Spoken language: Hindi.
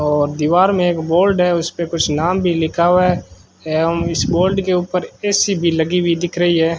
और दीवार में एक बोल्ड है उस पे कुछ नाम भीं लिखा हुवा हैं एवंम इस बोल्ड के ऊपर ए_सी भीं लगी हुई दिख रहीं है।